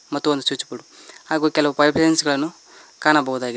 ಮತ್ತು ಒಂದು switchboard ಹಾಗು ಕೆಲವು ಪೈಪ್ ಲೈನ್ ಗಳನ್ನು ಕಾಣಬಹುದಾಗಿ--